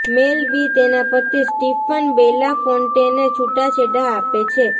મેલ B તેના પતિ Stephen બેલાફોન્ટેને છૂટાછેડા આપે છે